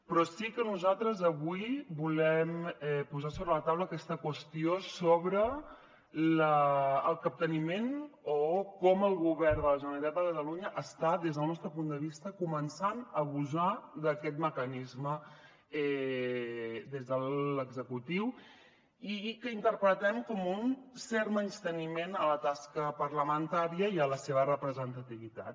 però sí que nosaltres avui volem posar sobre la taula aquesta qüestió sobre el capteniment o com el govern de la generalitat de catalunya està des del nostre punt de vista començant a abusar d’aquest mecanisme des de l’executiu i que interpretem com un cert menysteniment a la tasca parlamentària i a la seva representativitat